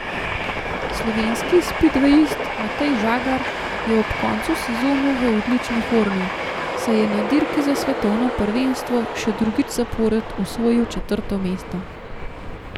Slovenski spidvejist Matej Žagar je ob koncu sezone v odlični formi, saj je na dirki za svetovno prvenstvo še drugič zapored osvojil četrto mesto.